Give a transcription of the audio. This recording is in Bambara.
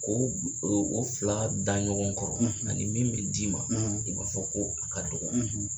K'o o fila da ɲɔgɔn kɔrɔ, , a min bɛ d'i ma, , i b'a fɔ ko a ka dɔgɔ.